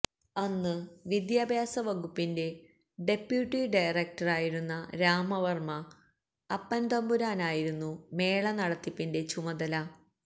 അന്ന് വിദ്യാഭ്യാസ വകുപ്പിന്റെ ഡെപ്യൂട്ടി ഡയറക്ടറായിരുന്ന രാമവര്മ അപ്പന് തമ്പുരാനായിരുന്നു മേള നടത്തിപ്പിന്റെ ചുമതല